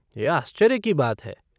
यह आश्चर्य की बात है!